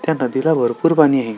त्या नदीला भरपूर पाणी आहे.